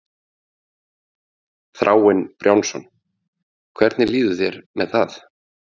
Þráinn Brjánsson: Hvernig líður þér með það?